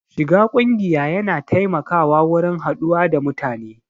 Shiga ƙungiya ya na taimakawa wurin haɗuwa da mutane